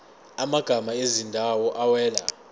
amagama ezindawo awela